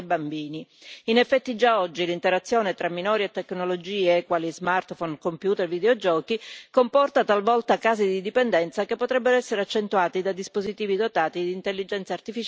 In effetti, già oggi l'interazione tra minori e tecnologie, quali smartphone, computer e videogiochi, comporta talvolta casi di dipendenza che potrebbero essere accentuati da dispositivi dotati di intelligenza artificiale avanzata.